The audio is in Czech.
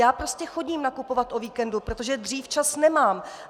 Já prostě chodím nakupovat o víkendu, protože dřív čas nemám!